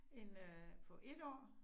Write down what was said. En øh på 1 år